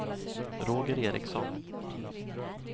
Roger Ericsson